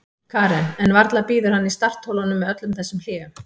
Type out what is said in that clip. Karen: En varla bíður hann í startholunum með öllum þessum hléum?